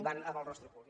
van amb el rostre ocult